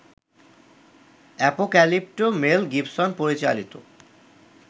Apocalypto Mel Gibson পরিচালিত